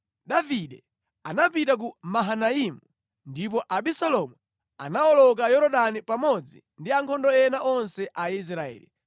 Davide anapita ku Mahanaimu, ndipo Abisalomu anawoloka Yorodani pamodzi ndi ankhondo ena onse a Israeli.